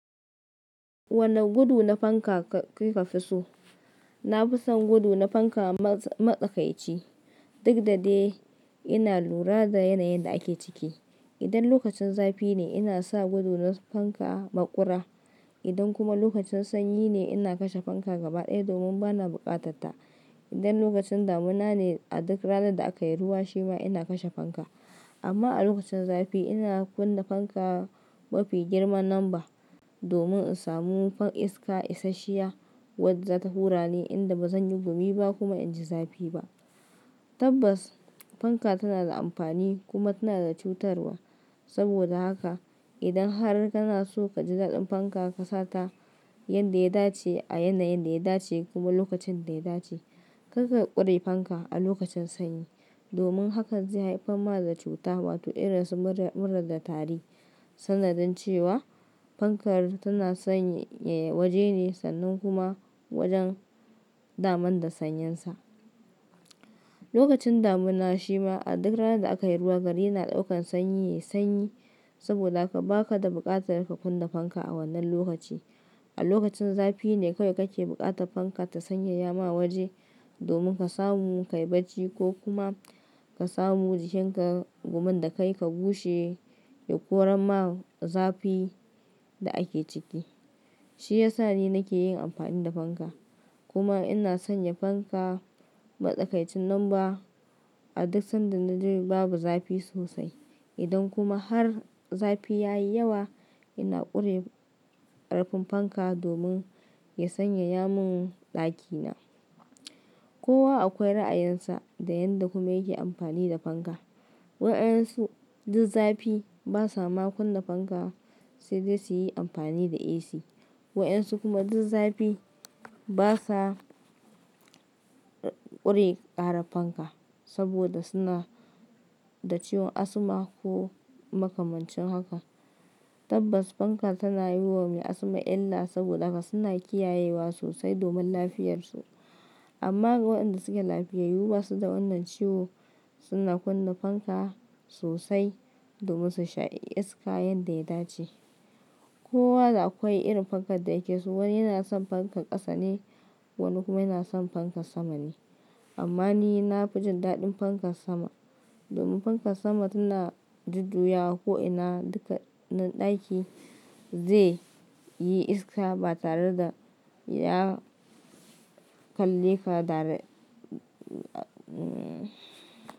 Wane gudu na fanka kuka fi so? Na fi son gudu na fanka matsakaici duk da dai ina lura da yanayin da ake ciki. Idan lokacin zafi ne ina sa gudu na fanka maƙura. Idan kuma lokacin sanyi ne ina kashe fanka gaba ɗaya domin bana buƙatarta. Idan lokacin damina ne a duk ranar da aka yi ruwa shi ma ina kashe fanka. Amma a lokacin zafi ina kunna fanka mafi girman namba domin in samu iska isashiya wadda za ta hura ni inda bazan yi gumi ba kuma in ji zafi ba. Tabbas fanka tana da amfani kuma tana da cutarwa. Saboda haka idan har kana so ka ji daɗin fanka ka sata yanda ya dace a yanayin da ya dace kuma lokacin da ya dace. Karka ƙure fanka a lokacin sanyi domin haka zai haifar ma da cuta wato irin su mura da tari sanadin cewa fankar tana sanyaya waje ne sannan kuma wajen daman da sanyinsa. Lokacin damina shi ma a duk ranar da aka yi ruwa gari yana ɗaukan sanyi yayi sanyi saboda haka baka da buƙatar ka kunna fanka a wannan lokaci. A lokacin zafi ne kawai kake buƙatar fanka ta sanyaya ma waje domin ka samu ka yi barci ko kuma ka samu jikin ka domin da kai ka gushe koran ma zafi da ake ciki. Shi ya sa ni nake yin amfani da fanka kuma ina sanya fanka matsakaicin numba a duk sanda na ji babu zafi sosai. Idan kuma har zafi ya yi yawa ina ƙure ƙarfin fanka domin ya sanyaya mun ɗakina. Kowa akwai ra'ayinsa da yanda kuma yake amfani da fanka. Waɗansu duk zafi ba sa ma kunna fanka sai dai su yi amfani da AC. Waɗansu kuma duk zafi ba sa ƙure ƙarar fanka saboda suna da ciwon asma ko makamancin haka. Tabbas fanka tana yi wa mai asma illa saboda haka suna kiyayewa sosai domin lafiyarsu. Amma waɗanda suke lafiya ba su da wannan ciwo suna kunna fanka sosai domin su sha iska yanda ya dace. Kowa da akwai irin fankar da yake so. Wani yana son fankar ƙasa ne wani kuma yana son fankar sama ne. Amma ni na fi jin daɗin fankar sama domin fankar sama tana jujjuyawa ko'ina dukkanin ɗaki zai yi iska ba tare da ya kalle ka dir--